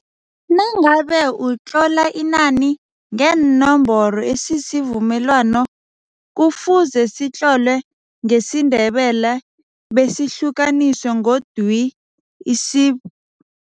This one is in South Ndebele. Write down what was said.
Nangabe utlola inani ngeenomboro isivumelwano kufuze sitlolwe ngesiNdebele besihlukaniswe ngodwi, isib.